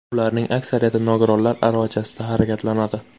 Ularning aksariyati nogironlar aravachasida harakatlanadi.